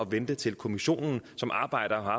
vente til kommissionen som arbejder og har